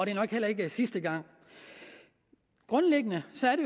er nok heller ikke sidste gang grundlæggende